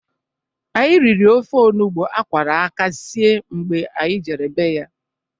Anyi riri ofe onugbu a kwara aka sie mgbe anyị jere be ya.